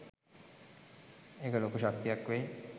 ඒක ලොකු ශක්තියක් වෙයි